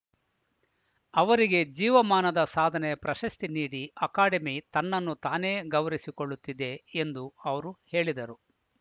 ಅವರಿಗೆ ಜೀವಮಾನದ ಸಾಧನೆ ಪ್ರಶಸ್ತಿ ನೀಡಿ ಅಕಾಡೆಮಿ ತನ್ನನ್ನು ತಾನೇ ಗೌರವಿಸಿಕೊಳ್ಳುತ್ತಿದೆ ಎಂದು ಅವರು ಹೇಳಿದರು